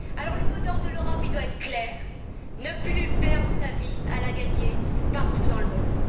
Alors, le mot d'ordre de l'Europe doit être clair ne plus perdre sa vie à la gagner, partout dans le monde.